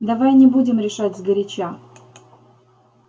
давай не будем решать сгоряча